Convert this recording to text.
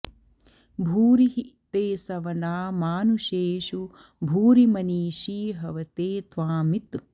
भूरि॒ हि ते॒ सव॑ना॒ मानु॑षेषु॒ भूरि॑ मनी॒षी ह॑वते॒ त्वामित्